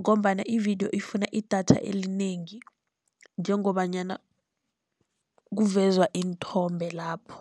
ngombana ividiyo ifuna idatha elinengi njengobanyana kuvezwa iinthombe lapho.